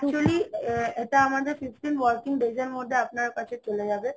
actually এটা আমাদের fifteen working days মধ্যে আপনার কাছে চলে যাবে